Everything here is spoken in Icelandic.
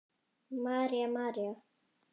María, María.